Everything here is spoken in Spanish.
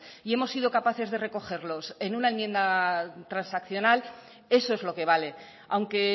y hemos sido capaces de recogerlos en una enmienda transaccional eso es lo que vale aunque